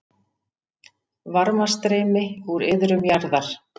Varmastreymi úr iðrum jarðar